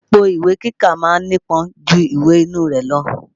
Èpo ìwé kíkà ma ń nípọn ju ìwè inú rẹ̀ lọ.